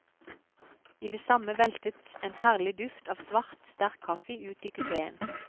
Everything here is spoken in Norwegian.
I det samme veltet en herlig duft av svart, sterk kaffe ut i kupeen.